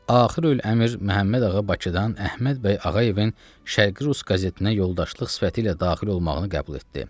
Axirül əmr Məhəmmədağa Bakıdan Əhməd bəy Ağayevin Şərqi rus qazetinə yoldaşlıq sifəti ilə daxil olmağını qəbul etdi.